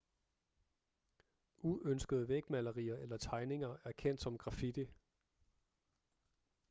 uønskede vægmalerier eller tegninger er kendt som graffiti